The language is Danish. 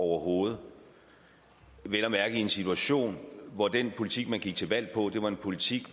overhovedet vel at mærke i en situation hvor den politik man gik til valg på var en politik